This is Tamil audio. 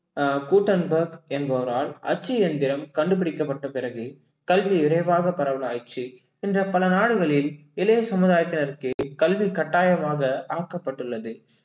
அஹ் என்பவரால் அச்சு எந்திரம் கண்டுபிடிக்கப்பட்ட பிறகு கல்வி விரைவாக பரவலாயிருச்சு இன்று பல நாடுகளில், இளைய சமுதாயத்தினருக்கு கல்வி கட்டாயமாக ஆக்கப்பட்டுள்ளது